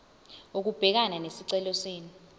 ukubhekana nesicelo senu